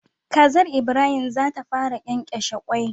Kazar Ibrahim zata fara kyenkyeshe kwai